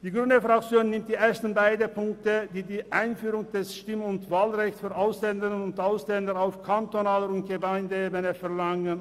Die grüne Fraktion nimmt die ersten beiden Punkte an, welche die Einführung des Stimm- und Wahlrechts für Ausländerinnen und Ausländer auf kantonaler und Gemeindeebene verlangen.